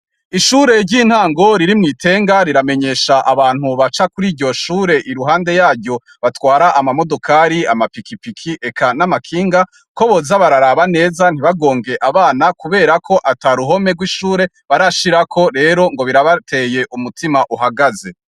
Ishure ry'intango riri mwi Tenga ,riramenyesha abantu baca Kuri iryo Shure iruhande yaryo batwara amamodokari ,amapikipiki, Eka namakinga ko boza bararabanneza ntibagonge abana kubera ko ataruhome rwishure barashirako rero birabateye umutima uhagaze.